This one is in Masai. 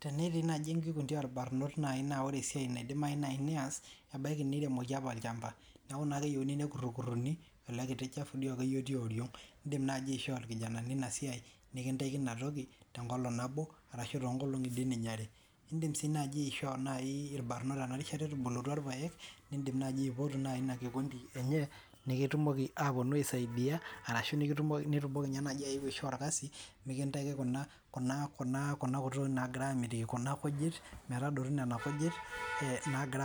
Tenetii naaji enkikundi orbarnoti naa ore esiai nayieu neas ebaiki niremoki apa olchamba neeku keyieu nekurori ele chafu lioriog edim naaji aishoo irkijanani enasiai nikintaki tenkolog nabo arashu too nkolong'i are edim naaji aipotu irbarnot enakata etubulutua irpaek nimpoot naaji ena kikundi enye nikitumoki ayetu aisaidia ashu nitumoki najii ayeu aishoo orkasi nikintaki Kuna tokitin nagira